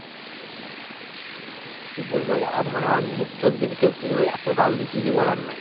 কি বলব? আর মানে ওর মুখ চোখ দেখে, তোর কি বলব? এত গাল দিচ্ছে যে বলার নাই।